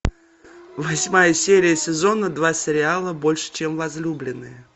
восьмая серия сезона два сериала больше чем возлюбленные